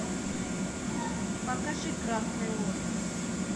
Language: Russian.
покажи красный лотос